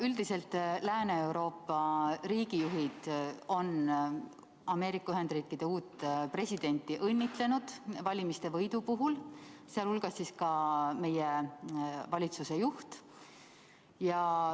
Üldiselt on Lääne-Euroopa riigijuhid Ameerika Ühendriikide uut presidenti valimiste võidu puhul õnnitlenud, sh meie valitsuse juht.